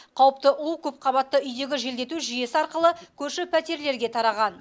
қауіпті у көпқабатты үйдегі желдету жүйесі арқылы көрші пәтерлерге тараған